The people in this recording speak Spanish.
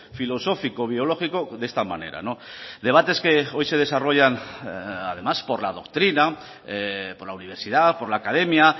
filosófico biológico de esta manera debates que hoy se desarrollan además por la doctrina por la universidad por la academia